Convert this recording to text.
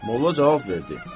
Molla cavab verdi: